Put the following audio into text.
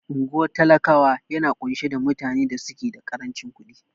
Unguwar talakawa yana ƙunshe da mutane da suke da karancin ƙudin